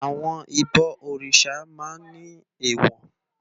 Àwòn ibò órisá mà n ni éwò